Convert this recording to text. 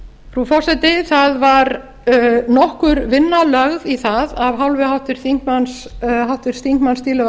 frú forseti það var nokkur vinna lögð í það af hálfu háttvirts þingmanns dýrleifar